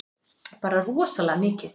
Bara rosalega mikið.